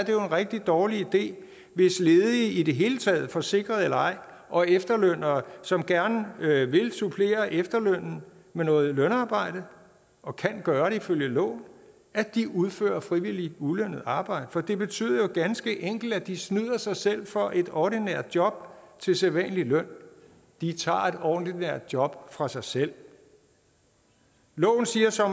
jo en rigtig dårlig idé hvis ledige i det hele taget forsikrede eller ej og efterlønnere som gerne vil supplere efterlønnen med noget lønarbejde og kan gøre det ifølge loven udfører frivilligt ulønnet arbejde for det betyder jo ganske enkelt at de snyder sig selv for et ordinært job til sædvanlig løn de tager et ordinært job fra sig selv loven siger så